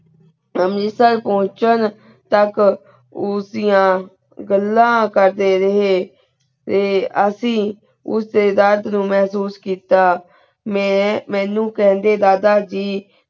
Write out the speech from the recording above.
ਪੋਚਨ ਤਕ ਉਸ ਦਿਯਾ ਗਲਾ ਕਰ ਦੇ ਰਹੀ ਤੇ ਅਸੀਂ ਉਸ ਦੇ ਦਰਦ ਨੂ ਮੇਹ੍ਸੂਸ ਕਿੱਤਾ ਮੈਂ ਮਨੁ ਕੰਡੇ ਦਾਦਾ ਜੀ